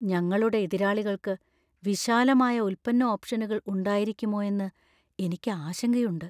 ഞങ്ങളുടെ എതിരാളികൾക്ക് വിശാലമായ ഉൽപ്പന്ന ഓപ്ഷനുകൾ ഉണ്ടായിരിക്കുമോയെന്ന് എനിക്ക് ആശങ്കയുണ്ട്.